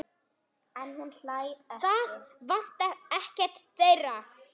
Þannig skal það verða.